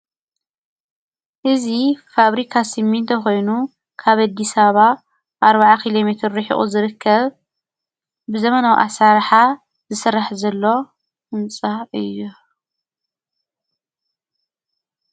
እዚ ፋብሪካ ስሚንቶ ኾይኑ ካብ ኣዲስ ኣበባ ኣርብዓ ኪሎ ሜትር ሪሒቑ ዝርከብ ብዘመናዊ ኣሰራርሓ ዝስራሕ ዘሎ ህንፃ እዩ፡፡